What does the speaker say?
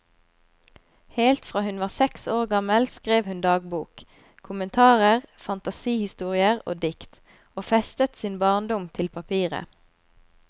Helt fra hun var seks år gammel skrev hun dagbok, kommentarer, fantasihistorier og dikt, og festet sin barndom til papiret.